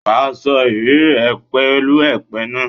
Wà sọ ìrírí re pèú èpè náà.